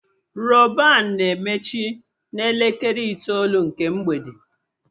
Rọban na-emechi na elekere itoolu nke mgbede